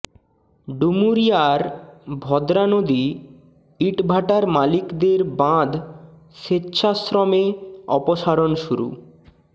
ডুমুরিয়ার ভদ্রা নদী ইটভাটার মালিকদের বাঁধ স্বেচ্ছাশ্রমে অপসারণ শুরু